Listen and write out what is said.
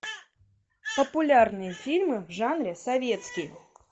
популярные фильмы в жанре советский